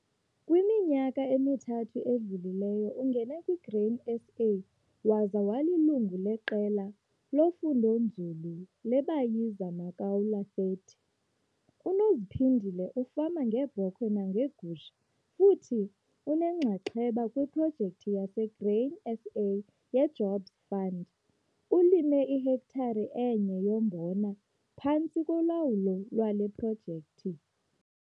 Kwiminyaka emithathu edlulileyo, ungene kwiGrain SA waza walilungu leQela loFundonzulu leBaziya Makaula 30. UNophinzile ufama ngeebhokhwe nangeegusha futhi unenxaxheba kwiProjekthi yaseGrain SA yeJobs Fund. Ulime ihektare enye yombona phantsi kolawulo lwale projekthi.